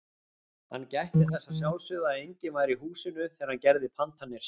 Hann gætti þess að sjálfsögðu að enginn væri í húsinu þegar hann gerði pantanir sínar.